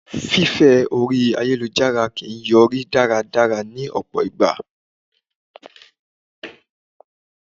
Fífẹ́ orí ayélujára kìí yọrí dáradára ní ọ̀pọ̀ ìgbà.